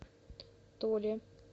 толе